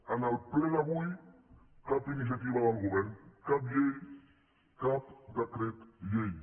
en el ple d’avui cap iniciativa del govern cap llei cap decret llei